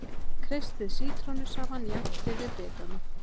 Kreistið sítrónusafann jafnt yfir bitana.